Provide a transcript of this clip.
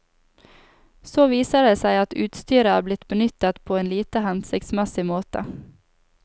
Så viser det seg at utstyret er blitt benyttet på en lite hensiktsmessig måte.